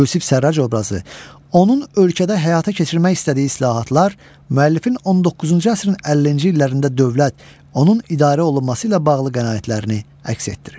Yusif Sərrac obrazı, onun ölkədə həyata keçirmək istədiyi islahatlar, müəllifin 19-cu əsrin 50-ci illərində dövlət, onun idarə olunması ilə bağlı qənaətlərini əks etdirir.